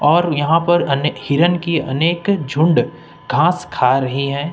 और यहां पर अने हिरन की अनेक झुंड घास खा रही है।